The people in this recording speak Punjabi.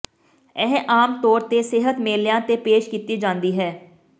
ਇਹ ਆਮ ਤੌਰ ਤੇ ਸਿਹਤ ਮੇਲਿਆਂ ਤੇ ਪੇਸ਼ ਕੀਤੀ ਜਾਂਦੀ ਹੈ